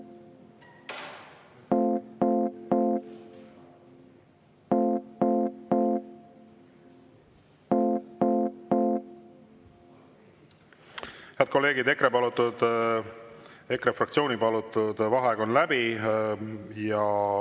Head kolleegid, EKRE fraktsiooni palutud vaheaeg on läbi.